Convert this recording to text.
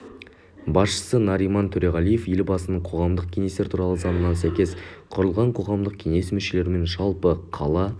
басшысы нариман төреғалиев елбасының қоғамдық кеңестер туралы заңына сәйкес құрылған қоғамдық кеңес мүшелерімен жалпы қала